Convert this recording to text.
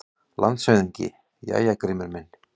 LANDSHÖFÐINGI: Jæja, Grímur minn!